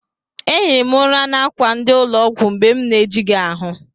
Ehiri m ụra n'akwa ndị ụlọ ọgwụ mgbe na-ejighị ahụ.